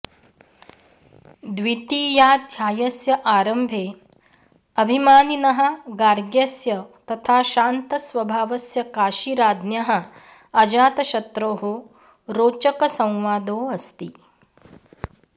द्वितीयाध्यायस्य आरम्भे अभिमानिनः गार्ग्यस्य तथा शान्तस्वभावस्य काशीराज्ञः अजातशत्रोः रोचकसंवादोऽस्ति